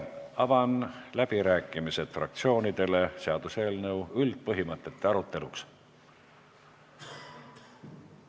Avan fraktsioonide läbirääkimised seaduseelnõu üldpõhimõtete aruteluks.